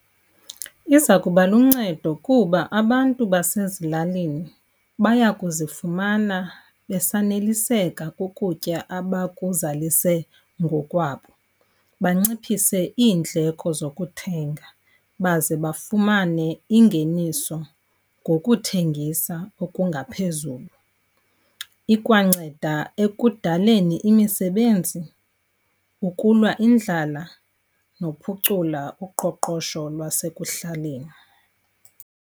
Iza kuba luncedo kuba abantu basezilalini baya kuzifumana besaneliseka kukutya abakuzalise ngokwabo, banciphise iindleko zokuthenga, baze bafumane ingeniso ngokuthengisa okungaphezulu. Ikwanceda ekudaleni imisebenzi, ukulwa indlala nokuphucula uqoqosho lwasekuhlaleni.